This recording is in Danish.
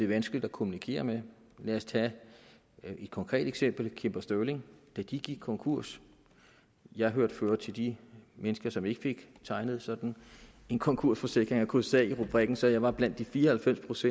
vanskeligt at kommunikere med lad os tage et konkret eksempel cimber sterling da de gik konkurs jeg hørte for øvrigt til de mennesker som ikke fik tegnet sådan en konkursforsikring og krydset af i rubrikken så jeg var blandt de fire og halvfems